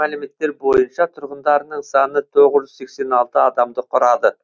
мәліметтер бойынша тұрғындарының саны тоғыз жүз сексен алты адамды құрады